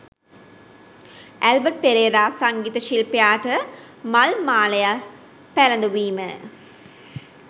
Albert Perera සංගීත ශිල්පියාට මල් මාලය පැළඳවීම